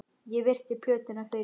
Ég virti plötuna fyrir mér.